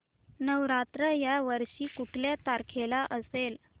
नवरात्र या वर्षी कुठल्या तारखेला असेल